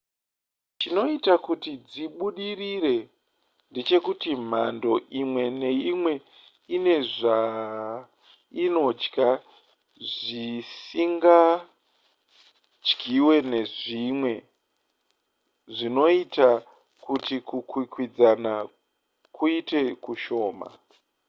chinoita kuti dzibudirire ndechekuti mhando imwe neimwe ine zvainodya zvisingadyiwe nezvimwe zvoita kuti kukwikwidzana kuite kushoma